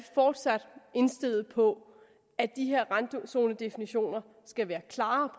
fortsat indstillet på at de her randzonedefinitioner skal være klare